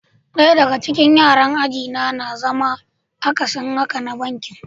Daya daga cikin yaran aji na yana zama akasin haka na bankin.